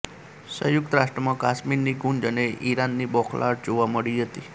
સંયુક્ત રાષ્ટ્રમાં કાશ્મીરની ગુંજ અને ઇરાનની બોખલાહટ જોવા મળી હતી